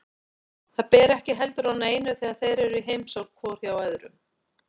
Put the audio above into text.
Það ber ekki heldur á neinu þegar þeir eru í heimsókn hvor hjá öðrum.